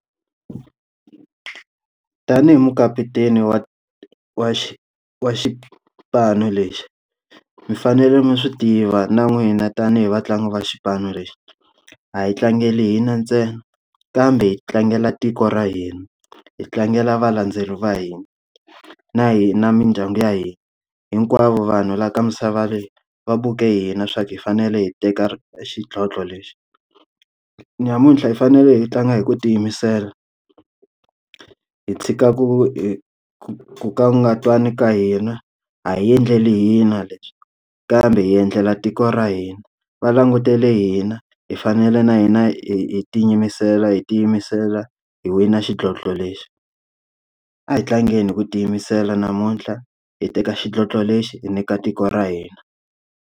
Tanihi mukaputeni wa wa wa xipano lexi, mi fanele mi swi tiva na n'wina tanihi vatlangi va xipano lexi. A hi tlangela hina ntsena kambe hi tlangela tiko ra hina, hi tlangela valandzeleri va hina, na hina mindyangu ya hina, hinkwavo vanhu laha ka misava leyi, va vuke hina swa ku hi fanele hi teka xidlodlo lexi. Namuntlha hi fanele hi tlanga hi ku tiyimisela, hi tshika ku hi ku ku ka hi nga twani ka hina. A hi endleli hina leswi kambe hi endlela tiko ra hina, va langutele hina, hi fanele na hina hi hi hi tiyimisela hi wi na xidlodlo lexi. A hi tlangeni hi ku tiyimisela namuntlha, hi teka xidlodlo lexi hi nyika tiko ra hina.